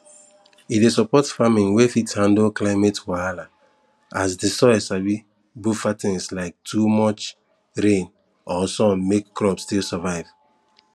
e dey support farming wey fit handle climate wahala as the soil sabi buffer things like too much rain or sun make crop still survive